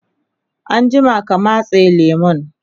anjima ka matse lemun!